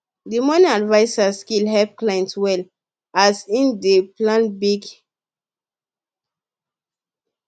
the money adviser skill help client well as e dey plan big career change